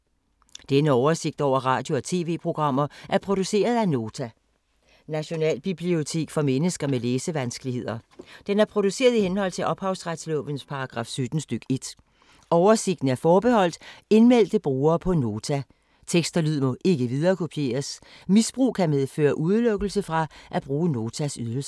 Denne oversigt over radio og TV-programmer er produceret af Nota, Nationalbibliotek for mennesker med læsevanskeligheder. Den er produceret i henhold til ophavsretslovens paragraf 17 stk. 1. Oversigten er forbeholdt indmeldte brugere på Nota. Tekst og lyd må ikke viderekopieres. Misbrug kan medføre udelukkelse fra at bruge Notas ydelser.